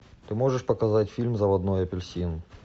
ты можешь показать фильм заводной апельсин